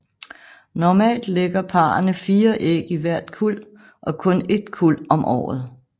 Normalt lægger parrene fire æg i hvert kuld og kun et kuld om året